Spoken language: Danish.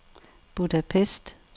Budapest